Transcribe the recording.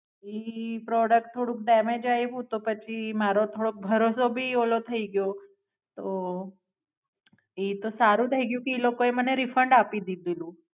એ Product થોડું damage આયવું તો પછી મારો થોડોક ભરોસો ભી ઓલો થાય ગ્યો તો ઈ તો સારું થઇગયું કે ઈ લોકો એ મને રિફંડ આપી દીધેલું.